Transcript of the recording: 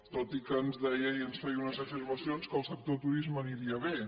tot i que ens deia i ens feia unes afirmacions que el sector turisme aniria bé